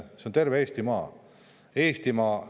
See on terve Eestimaa – Eestimaa!